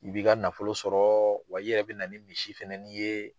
I b'i ka nafolo sɔrɔ wa i yɛrɛ bɛ na ni misi fanani ye.